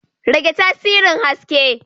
Rage tasirin haske.